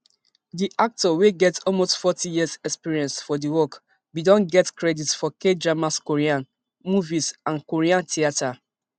di actor wey get almost forty years experience for di work bin don get credits for kdramas korean movies and korean theatre